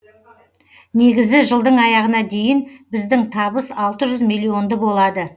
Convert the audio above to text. негізі жылдың аяғына дейін біздің табыс алты жүз миллионды болады